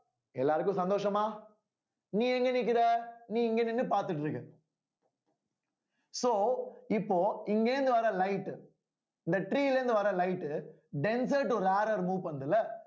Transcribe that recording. எல்லாருக்கும் சந்தோஷமா நீ எங்க நிக்கற நீ இங்க நின்னு பாத்துட்டு இருக்க so இப்போ இங்கே இருந்து வர light இந்த tree ல இருந்து வர light denser to rarer move பண்ணுது இல்ல